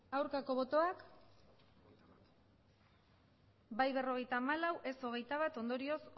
aurkako botoak emandako botoak hirurogeita hamabost bai berrogeita hamalau ez hogeita bat ondorioz